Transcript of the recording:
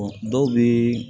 dɔw bɛ